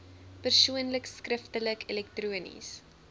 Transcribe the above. persoonlik skriftelik elektronies